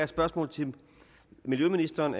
spørgsmål til miljøministeren